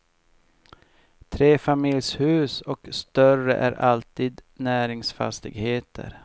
Trefamiljshus och större är alltid näringsfastigheter.